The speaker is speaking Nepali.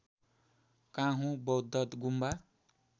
काँहू बौद्घ गुम्बा